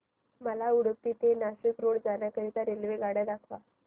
मला उडुपी ते नाशिक रोड जाण्या करीता रेल्वेगाड्या दाखवा